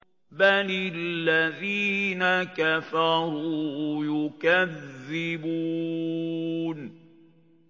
بَلِ الَّذِينَ كَفَرُوا يُكَذِّبُونَ